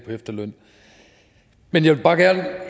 efterløn men jeg vil bare